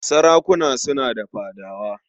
Sarakuna suna da fadawa.